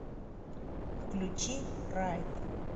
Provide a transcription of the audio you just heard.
включи райд